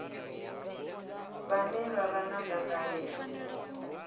vhane vha vha na dzangalelo